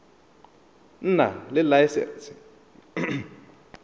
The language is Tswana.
nna le laesense ya tv